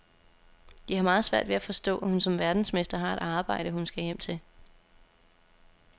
De har meget svært ved at forstå, at hun som verdensmester har et arbejde, hun skal hjem til.